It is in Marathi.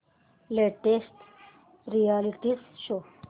latest reality show